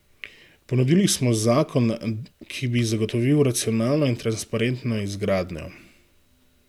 Ponudili smo zakon, ki bi zagotovil racionalno in transparentno izgradnjo.